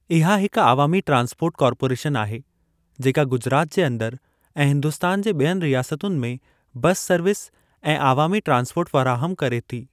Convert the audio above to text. इहा हिक अवामी ट्रांसपोर्ट कार्पोरेशन आहे जेका गुजरात जे अंदर ऐं हिन्दुस्तान जे ॿियनि रियासतुनि में बसि सर्विस ऐं आवामी ट्रांसपोर्ट फ़राहमु करे थी।